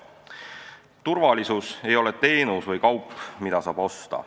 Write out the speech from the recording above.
Turvalisus ei ole teenus või kaup, mida saab osta.